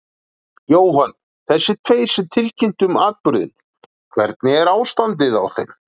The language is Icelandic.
Jóhann: Þessir tveir sem tilkynntu um atburðinn, hvernig er ástandið á þeim?